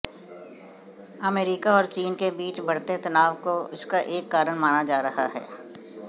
America और चीन के बीच बढ़ते तनाव को इसका एक कारण माना जा रहा है